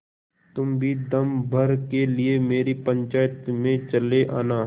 तुम भी दम भर के लिए मेरी पंचायत में चले आना